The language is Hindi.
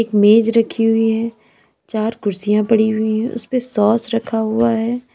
मेज रखी हुई है चार कुर्सियां पड़ी हुई हैं उस पे सॉस रखा हुआ है।